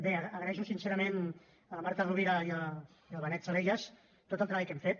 bé agraeixo sincerament a la marta rovira i al benet salellas tot el treball que hem fet